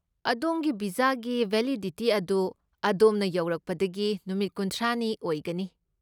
ꯑꯗꯣꯝꯒꯤ ꯚꯤꯖꯥꯒꯤ ꯕꯦꯂꯤꯗꯤꯇꯤ ꯑꯗꯨ ꯑꯗꯣꯝꯅ ꯌꯧꯔꯛꯄꯗꯒꯤ ꯅꯨꯃꯤꯠ ꯈꯨꯟꯊ꯭ꯔꯥꯅꯤ ꯑꯣꯏꯒꯅꯤ꯫